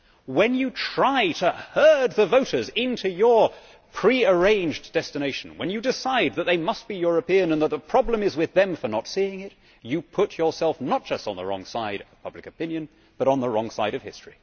When you try to herd the voters into your pre arranged destination, when you decide that they must be European and that the problem is with them for not seeing it, you put yourself not just on the wrong side of public opinion but on the wrong side of history.